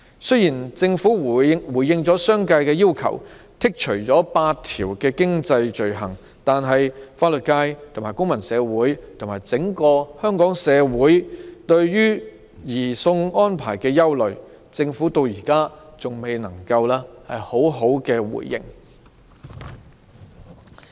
雖然政府回應了商界的要求，剔除8項經濟罪類，但對於法律界及公民社會以至整個社會對移交逃犯安排的憂慮，政府至今仍未作出回應。